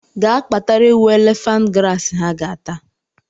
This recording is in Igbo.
Ga kpatara ewu elephant grass ha ga ata!